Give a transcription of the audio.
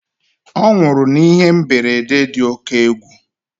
Ọ nwụrụ n'ihe mberede dị oke égwu